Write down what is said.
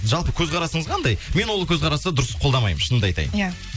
жалпы көзқарасыңыз қандай мен ол көзқарасты дұрыс қолдамаймын шынымды айтайын иә